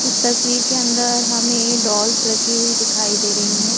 इस तस्वीर के अंदर हमें डॉल्स रखी हुई दिखाई दे रहे हैं।